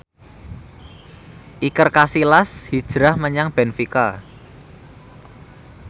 Iker Casillas hijrah menyang benfica